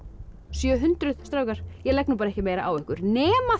sjö hundruð strákar ég legg nú ekki meira á ykkur nema